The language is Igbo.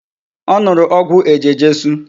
O nuru ogwu eje-jesu